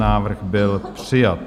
Návrh byl přijat.